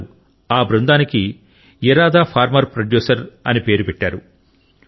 వారు ఆ బృందానికి ఇరాదా ఫార్మర్ ప్రొడ్యూసర్ అని పేరు పెట్టారు